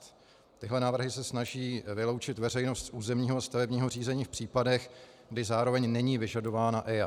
Tyhle návrhy se snaží vyloučit veřejnost z územního a stavebního řízení v případech, kdy zároveň není vyžadována EIA.